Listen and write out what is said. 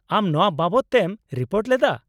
ᱟᱢ ᱱᱚᱶᱟ ᱵᱟᱵᱚᱫ ᱛᱮᱢ ᱨᱤᱯᱳᱴ ᱞᱮᱫᱟ ?